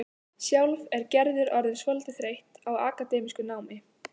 Sjálf er Gerður orðin svolítið þreytt á akademísku námi.